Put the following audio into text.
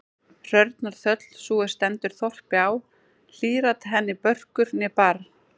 Hrörnar þöll, sú er stendur þorpi á, hlýr-at henni börkur né barr.